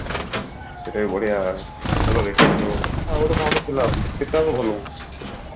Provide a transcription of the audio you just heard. ସେଟା ବି ବଢିଆ ଭଲ waiting ରେ ଅଛି ଆଉ ଗୋଟେ କଣ ଟେ ଥିଲା ଆଜି ସେଟା ବି ଭଲ ଅଛି